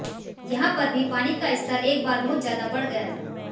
यहां पर भी पानी का स्तर एक बार बहुत ज्यादा बढ़ गया था